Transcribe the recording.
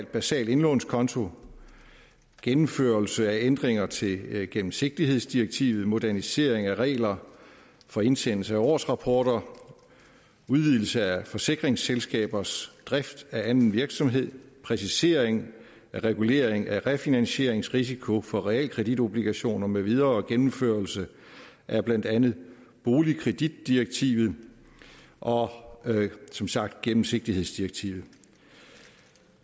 basal indlånskonto gennemførelse af ændringer til gennemsigtighedsdirektivet modernisering af regler for indsendelse af årsrapporter udvidelse af forsikringsselskabers drift af anden virksomhed præcisering af regulering af refinansieringsrisiko for realkreditobligationer med videre og gennemførelse af blandt andet boligkreditdirektivet og som sagt gennemsigtighedsdirektivet